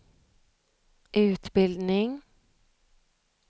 utbildning